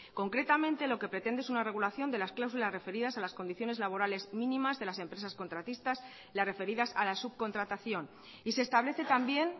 concretamente lo que pretende es una regulación de las cláusulas referidas a las condiciones laborales mínimas de las empresas contratistas las referidas a la subcontratación y se establece también